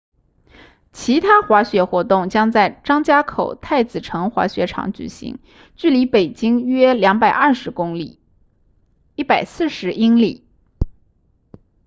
其他滑雪活动将在张家口太子城滑雪场举行距离北京约220公里140英里